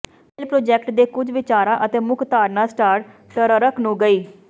fail project ਦੇ ਕੁਝ ਵਿਚਾਰਾਂ ਅਤੇ ਮੁੱਖ ਧਾਰਨਾ ਸਟਾਰ ਟਰਰਕ ਨੂੰ ਗਈ